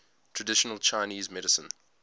traditional chinese medicine